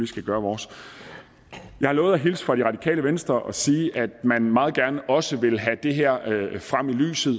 skal gøre vores jeg har lovet at hilse fra det radikale venstre at sige at man meget gerne også vil have det her frem i lyset